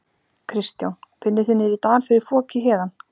Kristján: Finnið þið niðri í dal fyrir foki héðan?